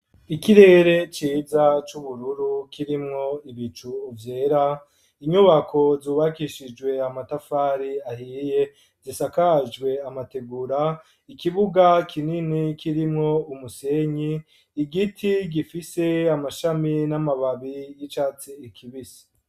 Ikirere ciza c'ubururu kirimwo ibicu vyera ,inyubako zubakishijwe amatafari ahiye zisakajwe amategura, ikibuga kinini kirimwo umusenyi ,igiti gifise amashami n'amababi y'icatsi ikibisi.